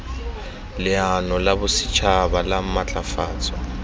leano la bosetšhaba la maatlafatso